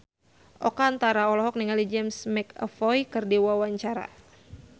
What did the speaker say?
Oka Antara olohok ningali James McAvoy keur diwawancara